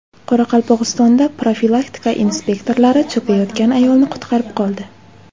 Qoraqalpog‘istonda profilaktika inspektorlari cho‘kayotgan ayolni qutqarib qoldi.